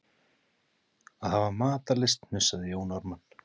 Að hafa matarlyst, hnussaði Jón Ármann.